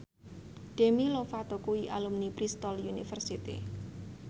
Demi Lovato kuwi alumni Bristol university